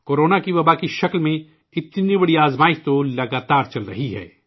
کو رونا وبائی مرض کی شکل میں، اتنی بڑی آزمائش تو لگاتار چل رہی ہے